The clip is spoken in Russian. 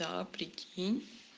да прикинь